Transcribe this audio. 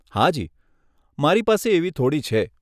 હાજી, મારી પાસે એવી થોડી છે.